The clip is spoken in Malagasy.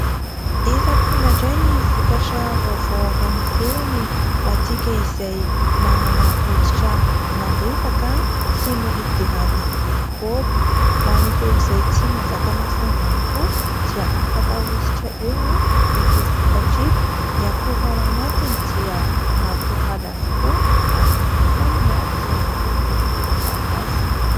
Efa tonga indray ny vokatra vaovao avy any ivelany ho antsika izay manana oditra malefaka sy mora idiran'ny mikraoba. Ho an'ireo izay tsy mazaka masoandro ihany koa dia afaka ahositra eo ito vokatra ito. Ny akora ao anatiny dia natoraly avokoa ary ny foniny dia miloko volomparasy.